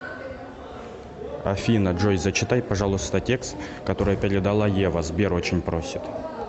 афина джой зачитай пожалуйста текст который передала ева сбер очень просит